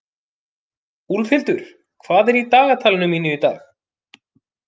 Úlfhildur, hvað er í dagatalinu mínu í dag?